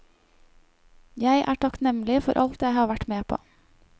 Jeg er takknemlig for alt jeg har vært med på.